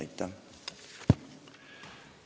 Aitäh!